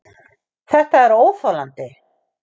ÞETTA ER ÓÞOLANDI!